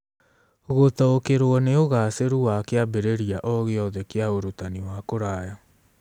Gũtaũkĩrũo nĩ ũgaacĩru wa kĩambĩrĩria o gĩothe kĩa ũrutani wa kũraya.